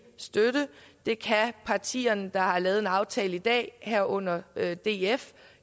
støtte det kan partierne der har lavet en aftale i dag herunder df